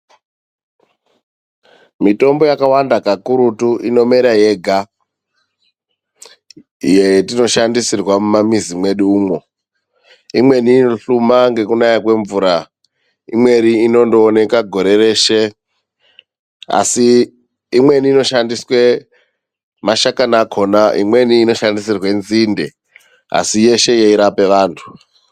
Mitombo yakawanda kakurutu inomera yega yetinoshandisirwa mamumamizi mwedu umwo. Imweni inohluma ngekunaya kwemvura imweni inondooneka gore reshe, asi imweni inoshandiswe mashakani akhona, imweni inoshandisirwe nzinde asi yeshe yeirape vantu .